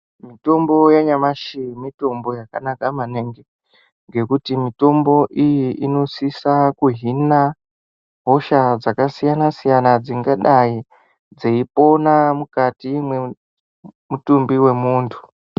Mutombo yanyamashi mutombo yakanaka maningi ngekuti mitombo iyi inosisa kuhina hosha dzakasiyana siyana dzingadai dzeipona mukati mwemutumbi wemuntu.